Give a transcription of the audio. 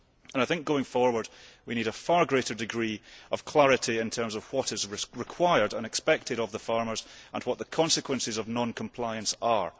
I think that going forward, we need a far greater degree of clarity in terms of what is required and expected of farmers and what the consequences of non compliance are.